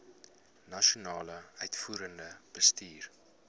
nasionale uitvoerende bestuur